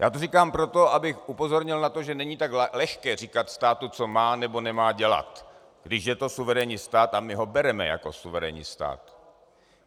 Já to říkám proto, abych upozornil na to, že není tak lehké říkat státu, co má nebo nemá dělat, když je to suverénní stát, a my ho bereme jako suverénní stát.